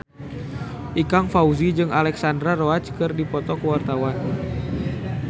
Ikang Fawzi jeung Alexandra Roach keur dipoto ku wartawan